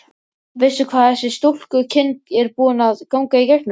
Emanúel, hvenær kemur strætó númer þrjátíu og sex?